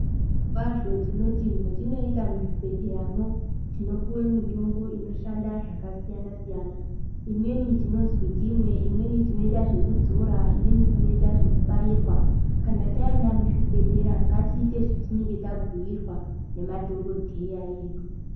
Zvirokwazvo tinoti mwetinoenda muzvibhedhleyamwo, tinopuwe mitombo inoshanda zvakasiyana-siyana. Imweni tinoziya timwe, imweni tinoita zvekudzora, imweni tinoita zvekubairwa. Kana taenda muzvibhedhlera, ngatiite zvatinenge tabhuirwa, ngemadhokodheya edu.